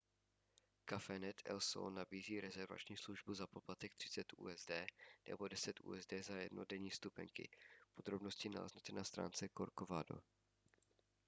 cafenet el sol nabízí rezervační službu za poplatek 30 usd nebo 10 usd za jednodenní vstupenky podrobnosti naleznete na stránce corcovado